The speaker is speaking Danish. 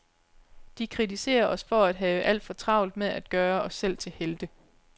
De kritiserer os for at have alt for travlt med at gøre os selv til helte.